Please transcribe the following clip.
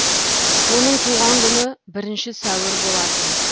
оның туған күні бірінші сәуір болатын